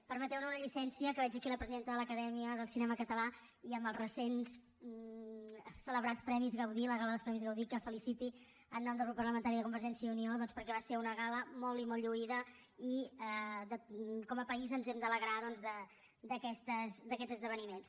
permeteu me una llicència que veig aquí la presidenta de l’acadèmia del cinema català i amb els recents celebrats premis gaudí la gala dels premis gaudí que la feliciti en nom del grup parlamentari de convergència i unió doncs perquè va ser una gala molt i molt lluïda i com a país ens hem d’alegrar d’aquests esdeveniments